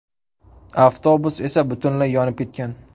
Avtobus esa butunlay yonib ketgan.